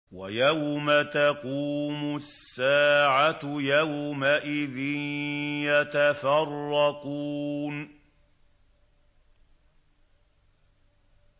وَيَوْمَ تَقُومُ السَّاعَةُ يَوْمَئِذٍ يَتَفَرَّقُونَ